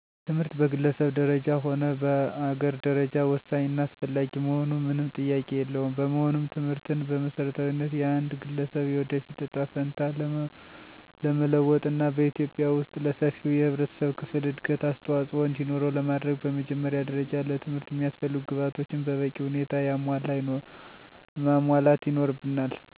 ትምህርት በግለሰብ ደረጃ ሆነ በአገር ደረጃ ወሳኝ እና አስፈላጊ መሆኑ ምንም ጥያቄ የለውም። በመሆኑም ትምህርትን በመሰረታዊነት የአንድ ገለሰብ የወደፊት እጣ ፈንታ ለመለወጥና በኢትዩጵያ ወስጥ ለሰፊው የህብረተሰብ ክፍል እድገት አስተዋፅኦ እንዲኖረው ለማድረግ በመጀመሪያ ደረጃ ለትምህርት የሚያስፈልጉ ግብአቶችን በበቂ ሁኔታ ማሟላት ይኖርብናል በመቀጠል ደግሞ የመምህራንን እጥረት እንዳይኖር ብቃት ያለው መምህር መመደብ የሚመደቡትን መምህራን ደህንነታቸው እንዲጠበቅና ጥቅማጥቅማቸውን በማስከበር ጥሩ የትምህርት አሰጣጥ ልምድ እንዲኖር ማስቻል እንዲሁም ህፃናትን ገና ከጅምሩ ከቤተሰብ አስተዳደግ ጀምሮ ከኬጂ ት/ቤት ትምህርታቸውን ሀ ብለው ከሚጀምሩበት ሰአት አንስቶ በጥሩ ስነምግባር አንፆ ለጥሩ ደረጃ ማብቃት ትምህርት ለአንድ ሀገር እድገት አስዋፆኦ እንዲኖር ማድረግ ይቻላል።